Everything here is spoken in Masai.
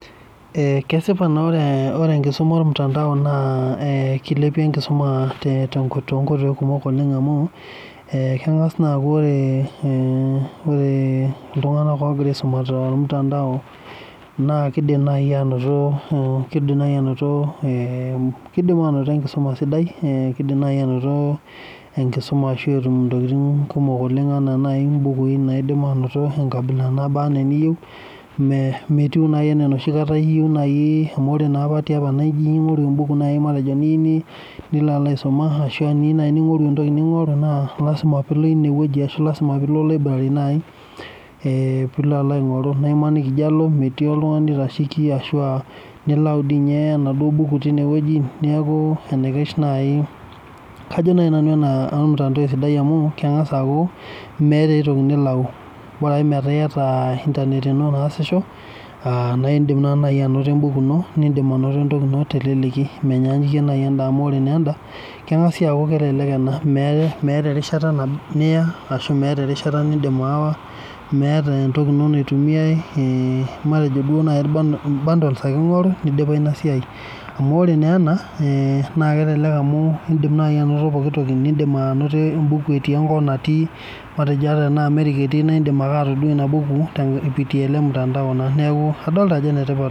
Kesipa naa ore enkisuma ormutantao naa kilepie enkisuma toonkoitoki kumok oleng amu kengas naa aku ore iltunganak ogira aisuma tormutandao naa kidimi naaji naoto enkisuma sidai ashua mbukui naaji naaba ena eniyieu enkabila niyieu metii naaji enaa enapa kata tiapa ijo alo aingoru embuku niyieu nilo alo aisuma ashua iyieu naaji ngori entoki ningoru naa lasima pee eilo ineweji ashu lasima pee ilo library naaji pee eilo alo aingoru naa ore pee eijo alo metii oltungani oitasheki ashua nilauni dei ninye enaduo buku tineweji neeku enaikash naaji kajo nanu ena ormutandao esidai amu kengas aaku meeta aitoki nilauni borake metaa iyata internet ino naasisho naa indim naa naaji anoto embuku ino nitum entoki ino teleleki ,menyaanyuki enda amu ore naa enda kengas sii aku meeta erishata nindim aawa meeta endoki ino naitumiyae matejo irbandols naaji ake ingoru neidipayu ina siai amu ore naa ena naa kelelek amu indim naaji anoto pooki toki nindim anoto embuku etii enkop natii ata tena Amerika etii neeku indim ake atodua ina buku telemutandao.